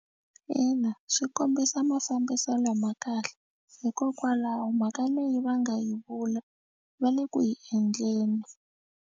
Ina, swi kombisa mafambiselo ma kahle hikokwalaho mhaka leyi va nga yi vula va le ku yi endleni.